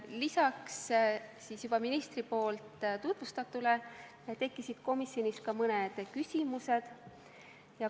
Lisaks sellele, mida minister äsja tutvustas, tekkisid komisjonis ka mõned küsimused.